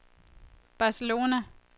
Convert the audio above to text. Barcelona